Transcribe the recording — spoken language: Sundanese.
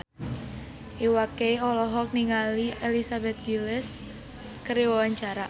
Iwa K olohok ningali Elizabeth Gillies keur diwawancara